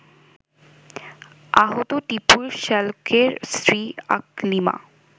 আহত টিপুর শ্যালকের স্ত্রী আকলিমা